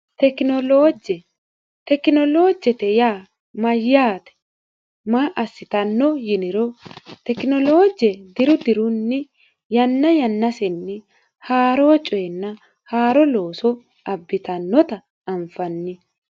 Tekinoloje, Tekinolojete yaa mayate maa assittano yiniro tekinoloje diru dirunni yanna yannateni haaro coyenna haaro loosso abbittanotta anfanni.